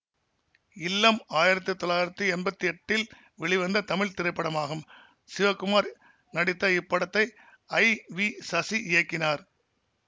இல்லம் ஆயிரத்தி தொள்ளாயிரத்தி எம்பத்தி எட்டில் வெளிவந்த தமிழ் திரைப்படமாகும் சிவகுமார் நடித்த இப்படத்தை ஐ வி சசி இயக்கினார்